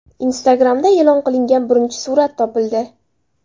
Instagram’da e’lon qilingan birinchi surat topildi.